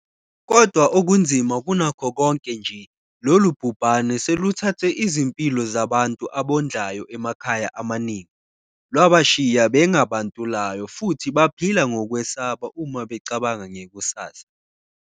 Kodwa okunzima kunakho konke nje, lolu bhubhane seluthathe izimpilo zabantu abondlayo emakhaya amaningi, lwabashiya benga bantulayo futhi baphila ngokwesaba uma becabanga ngekusasa.